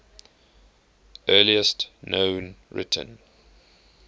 earliest known written